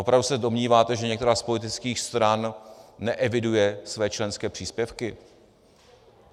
Opravdu se domníváte, že některá z politických stran neeviduje své členské příspěvky?